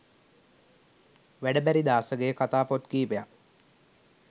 වැඩ බැරි දාසගේ කතා පොත් කීපයක්